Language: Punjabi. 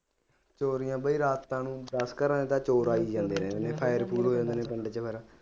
ਚੋਰੀਆਂ ਬਾਈ ਰਾਤਾਂ ਨੂੰ ਵਾਲੇ ਤਾਂ ਚੋਰ ਆ ਹੀ ਜਾਂਦੇ ਨੇ ਕਮਰੇ ਚ ਬਹਿਣਾ